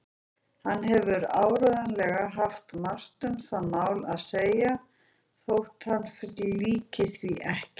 Hann hefur áreiðanlega haft margt um það mál að segja þótt hann flíkaði því ekki.